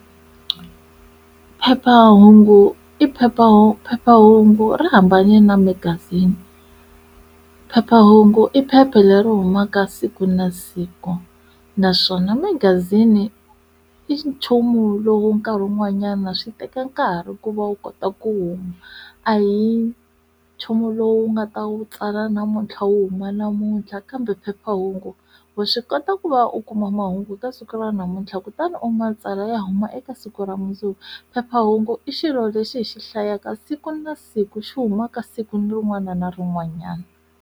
Phephahungu i phephahungu phephahungu ra hambane na magazini phephahungu i phepha leri humaka siku na siku naswona magazini i nchumu lowu nkarhi wun'wanyana swi teka nkarhi ku va u kota ku huma a hi nchumu lowu nga ta wu tsala namuntlha u huma namuntlha kambe phephahungu wa swi kota ku va u kuma mahungu eka siku ra namuntlha kutani u matsalwa ya huma eka siku ra mundzuku phephahungu i xilo lexi hi xi hlayaka siku na siku xi huma ka siku ni rin'wana na rin'wanyana.